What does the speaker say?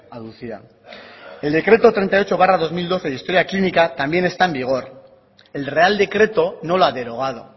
aducía el decreto treinta y ocho barra dos mil doce de historia clínica también está en vigor el real decreto no la ha derogado